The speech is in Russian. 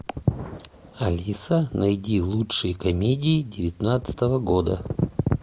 алиса найди лучшие комедии девятнадцатого года